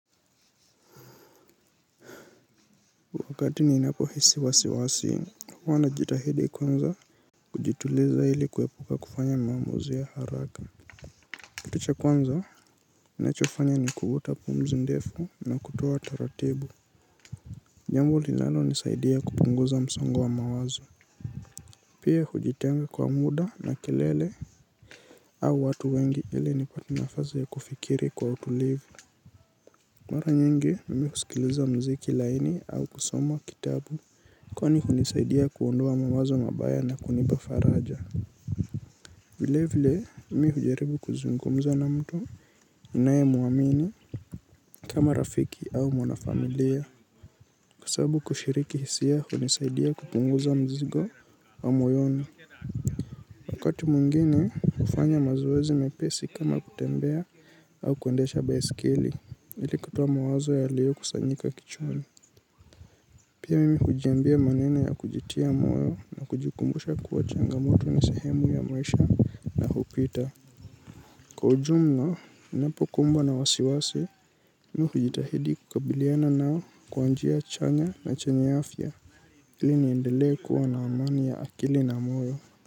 Wakati ninapohisi wasiwasi, huwa najitahidi kwanza kujituliza ili kuepuka kufanya maamuzi ya haraka. Kitu cha kwanza, ninachofanya ni kuvuta pumzi ndefu na kutoa taratibu jambo lilanonisaidia kupunguza msongo wa mawazo. Pia hujitenga kwa muda na kelele au watu wengi ili nipate nafazi ya kufikiri kwa utulivu. Mara nyingi, mimi husikiliza mziki laini au kusoma kitabu. Kwani hunisaidia kuondoa mawazo mabaya na kunipa faraja. Vile vile mimi hujaribu kuzungumza na mtu ninayemuamini kama rafiki au mwanafamilia. Kwa sababu kushiriki hisia hunisaidia kupunguza mzigo wa moyoni. Wakati mwingine hufanya mazoezi mepesi kama kutembea au kuendesha baisikeli ili kutoa mawazo yaliyokusanyika kichwani. Pia mimi hujiambia maneno ya kujitia moyo na kujikumbusha kuwa changamoto ni sehemu ya maisha na hupita. Kwa ujumna, ninapokumbwa na wasiwasi, mi hujitahidi kukabiliana nao kwa njia chanya na chanye afya ili niendelee kuwa na amani ya akili na moyo.